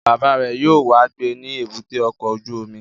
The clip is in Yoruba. Bàbá rẹ̀ yóò wá gbé ní èbúté ọkọ̀ ojú omi